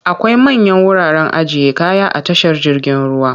Akwai manyan wuraren ajiye kaya a tashar jirgin ruwa.